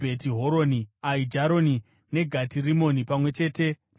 Aijaroni, neGati Rimoni pamwe chete namafuro awo.